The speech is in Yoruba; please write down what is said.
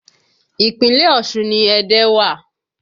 Ìpínlẹ̀ Ọ̀ṣun ni Ẹdẹ wa